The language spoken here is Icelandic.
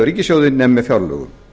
ríkissjóði nema með fjárlögum